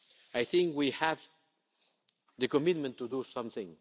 process. I think we have the commitment to do